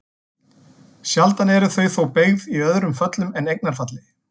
Sjaldan eru þau þó beygð í öðrum föllum en eignarfalli.